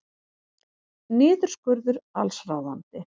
Niðurskurður allsráðandi